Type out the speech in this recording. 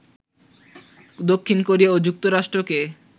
দক্ষিণ কোরিয়া ও যুক্তরাষ্ট্রকে